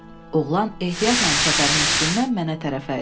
Oğlan ehtiyatla çəpərin üstündən mənə tərəf əyildi.